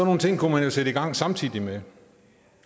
nogle ting kunne man jo sætte i gang samtidig med